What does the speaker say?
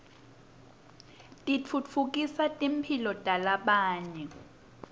titfutfukisa timphilo talabanye